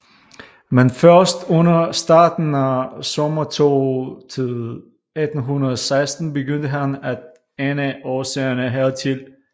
Men først under starten af sommertogtet 1816 begyndte han at ane årsagerne hertil